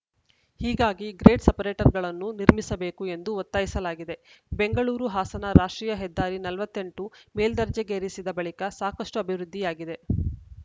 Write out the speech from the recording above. ಹೀಗಾಗಿ ಗ್ರೇಡ್‌ ಸಪರೇಟರ್‌ಗಳನ್ನು ನಿರ್ಮಿಸಬೇಕು ಎಂದು ಒತ್ತಾಯಿಸಲಾಗಿದೆ ಬೆಂಗಳೂರುಹಾಸನ ರಾಷ್ಟ್ರೀಯ ಹೆದ್ದಾರಿ ನಲವತ್ತ್ ಎಂಟು ಮೇಲ್ದರ್ಜೆಗೇರಿಸಿದ ಬಳಿಕ ಸಾಕಷ್ಟುಅಭಿವೃದ್ಧಿಯಾಗಿದೆ